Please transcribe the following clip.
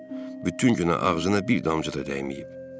Bütün günə ağzına bir damcı da dəyməyib.